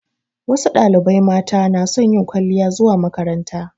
Wasu ɗalibai mata na son yin kwaliya zuwa makaranta